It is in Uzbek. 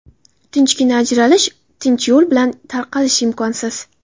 Tinchgina ajralish, tinch yo‘l bilan tarqalish imkonsiz.